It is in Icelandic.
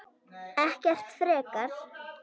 Ekkert frekar.